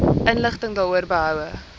inligting daaroor behoue